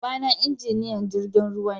Baba na injiniyan jirgin ruwa ne